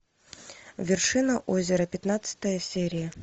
вершина озера пятнадцатая серия